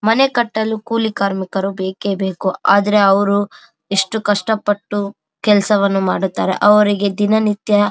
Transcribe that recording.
ಮನೆ ಕಟ್ಟಲು ಕೂಲಿ ಕಾರ್ಮಿಕರು ಬೇಕೆಬೇಕು ಆದ್ರೆ ಅವ್ರು ಇಷ್ಟು ಕಷ್ಟಪಟ್ಟು ಕೆಲ್ಸ್ ವನ್ನು ಮಾಡುತ್ತಾರೆ ಅವರಿಗೆ ದಿನನಿತ್ಯ --